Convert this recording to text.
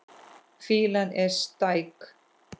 Fýlan er stæk.